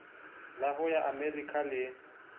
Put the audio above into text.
la ho ya amerika le